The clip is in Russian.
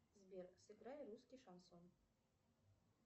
сбер сыграй русский шансон